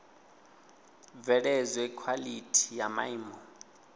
bveledzwe khwalithi ya maimo a